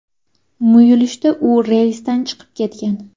Muyulishda u relsdan chiqib ketgan.